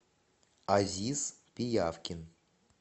азиз пиявкин